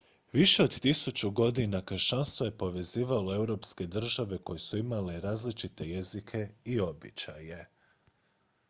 više od tisuću godina kršćanstvo je povezivalo europske države koje su imale različite jezike i običaje